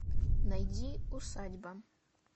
найди усадьба